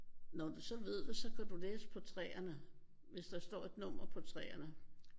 Når du så ved det så kan du læse på træerne. Hvis der står et nummer på træerne